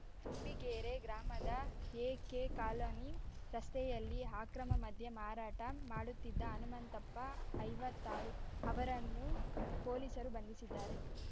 ತುಂಬಿಗೇರೆ ಗ್ರಾಮದ ಎಕೆಕಾಲನಿ ರಸ್ತೆಯಲ್ಲಿ ಅಕ್ರಮಮದ್ಯ ಮಾರಾಟ ಮಾಡುತ್ತಿದ್ದ ಹನುಮಂತಪ್ಪ ಐವತ್ತಾರು ಅವರನ್ನು ಪೊಲೀಸರು ಬಂಧಿಸಿದ್ದಾರೆ